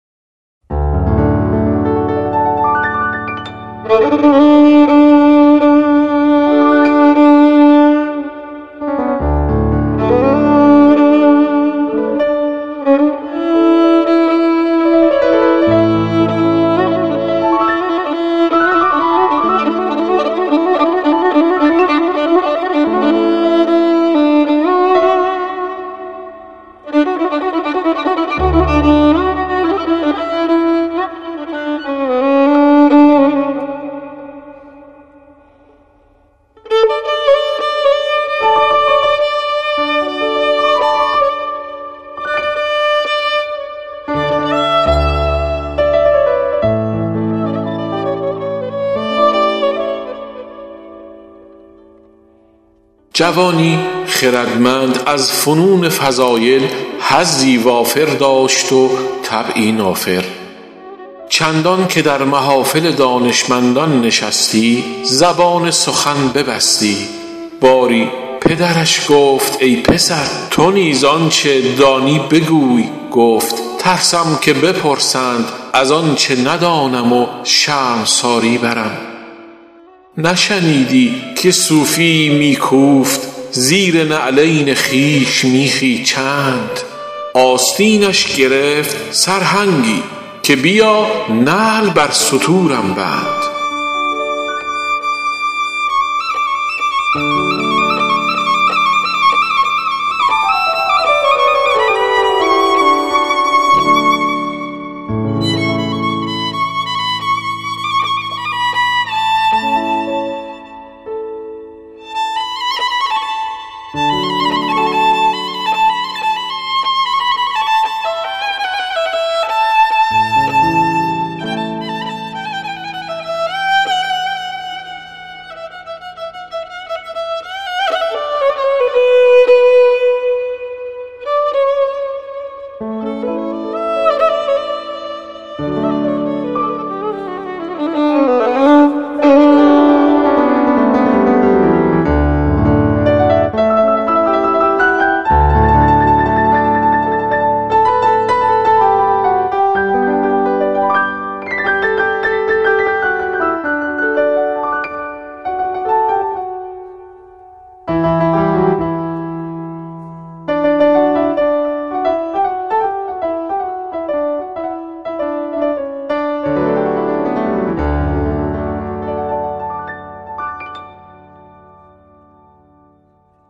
جوانی خردمند از فنون فضایل حظی وافر داشت و طبعی نافر چندان که در محافل دانشمندان نشستی زبان سخن ببستی باری پدرش گفت ای پسر تو نیز آنچه دانی بگوی گفت ترسم که بپرسند از آنچه ندانم و شرمساری برم نشنیدی که صوفی یی می کوفت زیر نعلین خویش میخی چند آستینش گرفت سرهنگی که بیا نعل بر ستورم بند